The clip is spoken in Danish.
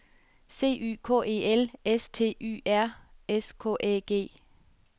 C Y K E L S T Y R S K Æ G